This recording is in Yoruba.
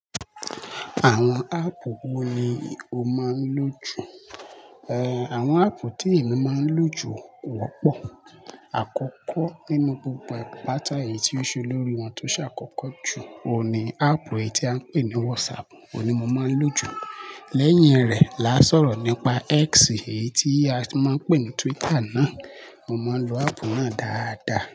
Àwọn áàpù wo ni o máa ń lò jù? Eh, àwọn áàpù tí èmi máa ń lò jù kọ́pọ̀. Àkọ́kọ́ nínú gbogbo pàtà eyi tí ó ṣe olórí wọn tó ṣàkọ́kọ́ jù, òun ni áàpù èyí tí a ń pè ní WhatsApp, òun ni mo máa ń lò jù. Lẹ́yìn rẹ̀, là sọ̀rọ̀ nípa X èyí tí a ti máa ń pè ní Twitter náà, mo máa ń lo áàpù náà dáadáa.